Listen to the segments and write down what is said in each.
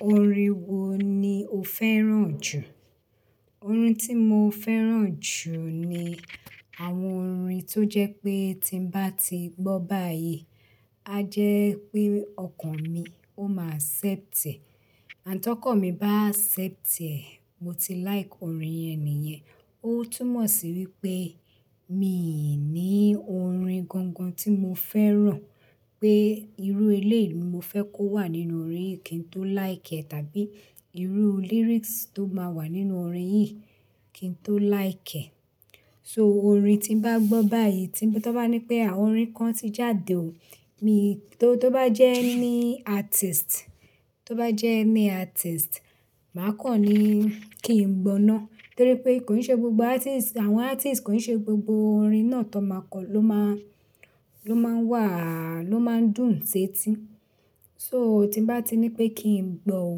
Orin wo ni o fẹ́ràn jù? Orin tí mo fẹ́ràn jù ni àwọn orin tó jẹ́ pé tí mo bá ti gbọ́ báyìí, a jẹ́ pé ọkàn mi ó máa ṣẹ́tẹ̀. Àn tọkan mí bá ṣẹ́tẹ̀, mo ti like orin ẹni yẹn. Ó túmọ̀ sí wípé mi ò ní orin gangan tí mo fẹ́ràn pé irú eléèmu mo fẹ́ kó wà nínú orin yìí kí n tó like ẹ̀, tàbí irú lyrics tó máa wà nínú orin yìí kí n tó like ẹ̀. So orin tí mo bá gbọ́ báyìí tí tó bá ní pé àwọn orin kan ti jáde o, mi tó bá jẹ́ ní artist, tó bá jẹ́ ní artist, màá kọ̀ ní kí n gbọ́ ná. Torí pé kò ní ṣe gbogbo artist, àwọn artist kò ní ṣe gbogbo orin náà tó máa kọ̀ ló máa, ló máa wà, ló máa dùn-ún setí. So tí bá ti ní pé kí n gbọ́ o,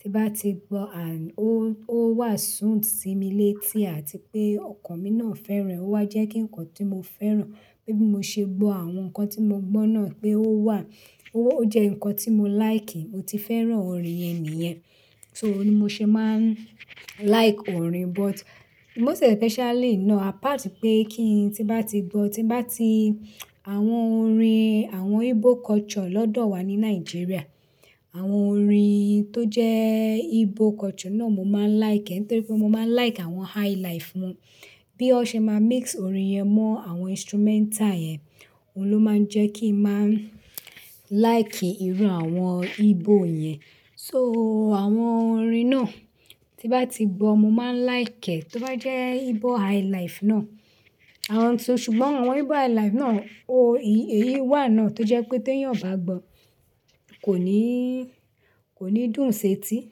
tí bá ti gbọ́ à-- ó, ó wà sùn sí mi létí àti pé ọkàn mi náà fẹ́ràn, ó wá jẹ́ kí nǹkan tí mo fẹ́ràn, pé bí mo ṣe gbọ́ àwọn nǹkan tí mo gbọ́ náà pé ó wà, ó, ó jẹ́ nǹkan tí mo like, mo ti fẹ́ràn orin yẹn ni yẹn. So òní mo ṣe máa ń like orin, but most especially náà, apart pé kí ń, tí bá ti gbọ́, tí bá ti àwọn orin, àwọn Igbo culture lọ́dọ̀ wa ní Nigeria, àwọn orin tó jẹ́ Igbo culture náà mo máa ń like ẹ̀ torí pé mo máa ń like àwọn highlife wọn. Bí ó ṣe máa mix orin yẹn mọ́ àwọn instrumental yẹn, òun ló máa ń jẹ́ kí n máa ń like irú àwọn Igbo yẹn. So àwọn orin náà tí bá ti gbọ́, mo máa ń like ẹ̀ tó bá jẹ́ Igbo highlife náà. Àwọn ti-- ṣùgbọ́n àwọn Igbo highlife náà, o-ì-èyí wà náà tó jẹ́ pé tí èèyàn ò bá gbọ́, kò ní, kò ní dùn-ún setí.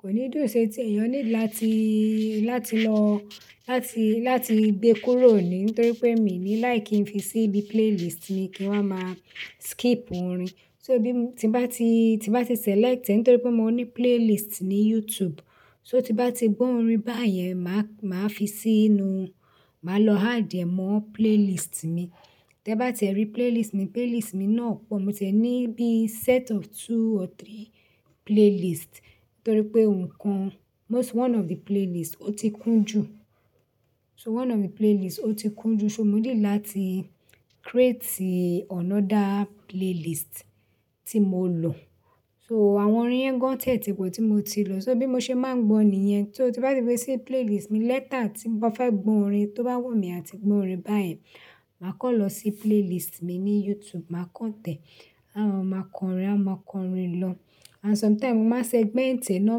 Kò ní dùn-ún setí, èèyàn nílò láti, láti lọ, láti, láti gbe kúrò ní i torí pé èmi ní like kí n fi sí ibi playlist mi kí wa máa skip orin. So bí mo ti bá ti, tí bá ti select ẹ̀ torí pé mo ní playlist ní YouTube, so tí bá ti gbọ́ orin báyẹn, màá, màá fi sínú, màá lọ add ẹ̀ mọ́ playlist mi. Tẹ bá tì ẹ rí playlist mi, playlist mi náà pọ̀. Mo tẹ̀ ní bí set of two or three playlist torí pé ohun kan, most-- one of the playlist ó ti kún jù. So one of the playlist ó ti kún jù, so mo nílò láti create another playlist tí mo lò. So àwọn orin yẹn gan tẹ̀ ti kò tí mo ti lò. So bí mo ṣe máa ń gbọ̀n ni yẹn. So tí bá ti wá sí playlist mi later tí mo fẹ́ gbọ́ orin, tó bá wù mí àti gbọ́ orin báyìí, màá kàn lọ sí playlist mi ní YouTube, màá kàn tẹ̀. Àma máa kọ orin, àma máa kọ orin lọ. And sometime mo máa segment e, náà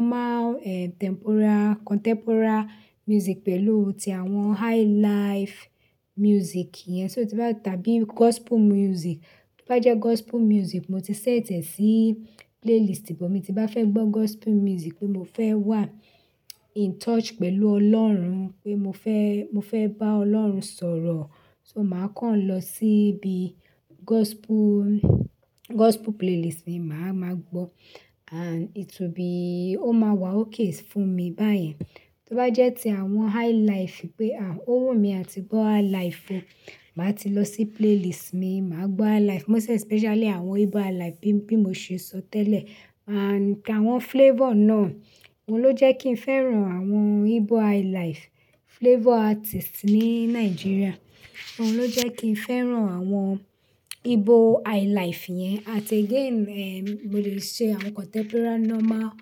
máa, eh, temporal, contemporary music pẹ̀lú ti àwọn highlife music yẹn. So tí bá-- tàbí gospel music. Bo bá jẹ́ gospel music, mo ti sẹ́tẹ̀ sí playlist bí mo ti bá fẹ́ gbọ́ gospel music pé mo fẹ́ wà in touch pẹ̀lú Ọlọ́run, pé mo fẹ́, mo fẹ́ bá Ọlọ́run sọ̀rọ̀. So màá kàn lọ síbi gospel, gospel playlist mi, màá máa gbọ́ and it will be-- ó máa wà okay fún mi báyẹn. Tó bá jẹ́ ti àwọn highlife pé, à, ó wù mí àti gbọ́ highlife o, màá ti lọ sí playlist mi, màá gbọ́ highlife. Most especially àwọn Igbo highlife bí, bí mo ṣe sọ tẹ́lẹ̀. And àwọn flavor náà, òun ló jẹ́ kí ń fẹ́ràn àwọn Igbo highlife flavor artist ní Nigeria. Òun ló jẹ́ kí ń fẹ́ràn àwọn Igbo highlife yẹn. And again, eh, mo lè ṣe àwọn contemporary, normal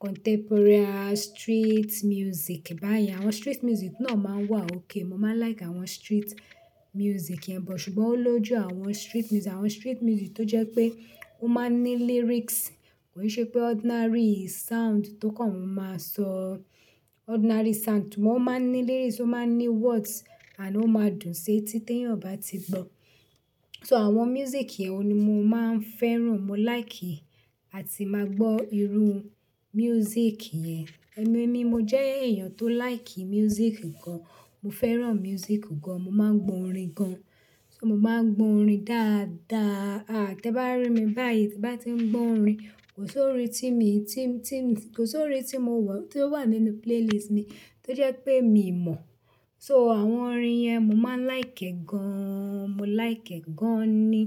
contemporary street music báyẹn. Àwọn street music náà máa wà okay. Mo máa like àwọn street music yẹn, but ṣùgbọ́n ó lójú àwọn street music, àwọn street music tó jẹ́ pé ó máa ń ní lyrics. Kò n ṣe pé ordinary sound tó kàn máa sọ ordinary sound, ṣùgbọ́n ó máa ń ní lyrics, ó máa ń ní words and ó máa dùn-ún setí tí èèyàn bá ti gbọ́. So àwọn music yẹn òun ni mo máa ń fẹ́ràn, mo like àti máa gbọ́ irú music yẹn. Ẹ̀mí ni mo jẹ́ èèyàn tó like music gan. Mo fẹ́ràn music gan. Mo máa ń gbọ́ orin gan. So mo máa ń gbọ́ orin dáadáa. Tẹ bá rí mi báyìí, tí bá ti ń gbọ́ orin, kò sí orin tí mi, tí, tí mi, kò sí orin tí mo wọ̀, tí ó wà nínú playlist mi tó jẹ́ pé mi ò mọ̀. So àwọn orin yẹn mo máa ń like ẹ gan. Mo like ẹ gan ni.